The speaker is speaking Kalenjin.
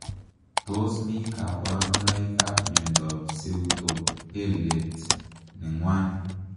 Tos mi kabaruboik ap miondoop seutopelate nengwan ?